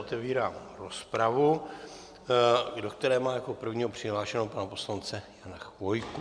Otevírám rozpravu, do které mám jako prvního přihlášeného pana poslance Jana Chvojku.